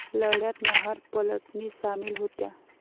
लढ्यात महार पलटणी सामील होत्या.